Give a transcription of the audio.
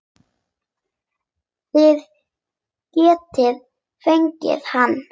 Þið getið fengið hann